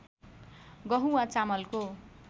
गहुँ वा चामलको